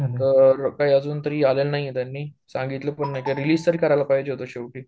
तर काय अजूनतरी काय आलेलं नाहीये त्यांनी सांगितलं पण नाही, रिलीज तर करायला पाहिजे होतं शेवटी